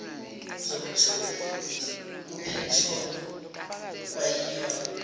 zomthofu kuphetholo kwayiyona